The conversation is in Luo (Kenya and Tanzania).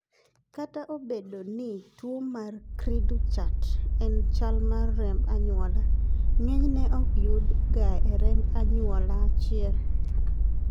kata obedo ni tuo mar cri du chat en chal mar remb anyuola, ng'enyne ok yud ga e remb anyuola achiel